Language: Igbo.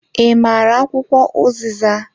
I maara akwụkwọ uziza?